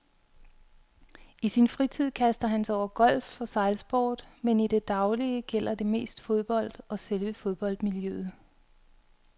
I sin fritid kaster han sig over golf og sejlsport, men i det daglige gælder det mest fodbold og selve fodboldmiljøet.